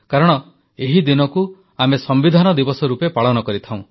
କାରଣ ଏହି ଦିନକୁ ଆମେ ସମ୍ବିଧାନ ଦିବସ ରୂପେ ପାଳନ କରିଥାଉ